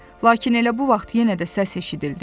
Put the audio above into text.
Lakin elə bu vaxt yenə də səs eşidildi.